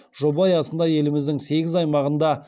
жоба аясында еліміздің сегіз аймағында